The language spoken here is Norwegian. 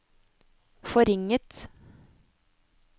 forringet